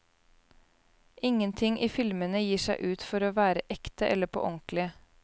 Ingenting i filmene gir seg ut for å være ekte eller på ordentlig.